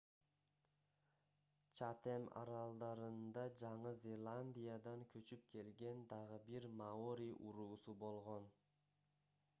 чатем аралдарында жаңы зеландиядан көчүп келген дагы бир маори уруусу болгон